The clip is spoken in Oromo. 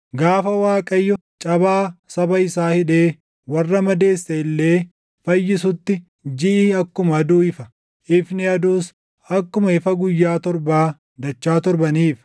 Gaafa Waaqayyo cabaa saba isaa hidhee warra madeesse illee fayyisutti jiʼi akkuma aduu ifa; ifni aduus akkuma ifa guyyaa torbaa dachaa torba ni ifa.